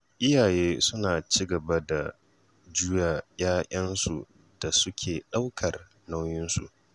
Iyaye suna ci gaba da juya 'ya'yansu da suke ɗaukar nauyinsu.